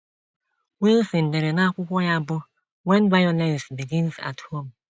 Wilson dere n’akwụkwọ ya bụ́ When Violence Begins at Home.